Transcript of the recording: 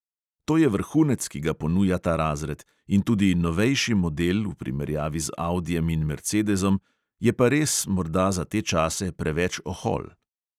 To je vrhunec, ki ga ponuja ta razred, in tudi novejši model v primerjavi z audijem in mercedezom, je pa res morda za te čase preveč ohol.